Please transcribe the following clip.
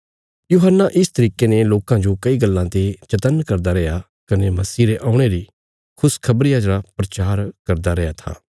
यूहन्ना इस तरिके ने लोकां जो कई गल्लां ते चत्तन्न करदा रैया कने मसीह रे औणे री खुशखबरिया रा प्रचार करदा रैआं था